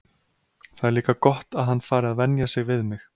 Það er líka gott að hann fari að venja sig við mig.